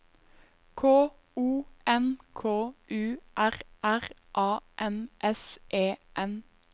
K O N K U R R A N S E N